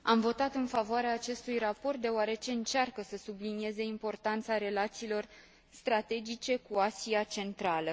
Am votat în favoarea acestui raport, deoarece încearcă să sublinieze importanța relațiilor strategice cu Asia Centrală.